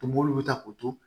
Toboli ta k'o to